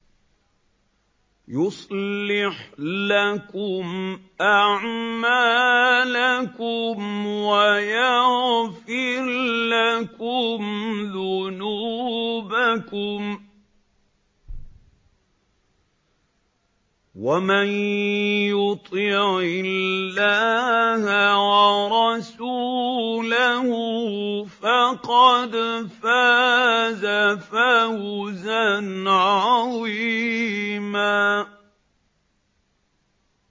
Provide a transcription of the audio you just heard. يُصْلِحْ لَكُمْ أَعْمَالَكُمْ وَيَغْفِرْ لَكُمْ ذُنُوبَكُمْ ۗ وَمَن يُطِعِ اللَّهَ وَرَسُولَهُ فَقَدْ فَازَ فَوْزًا عَظِيمًا